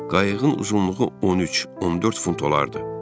Qayığın uzunluğu 13-14 fut olardı.